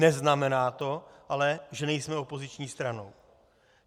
Neznamená to ale, že nejsme opoziční strana.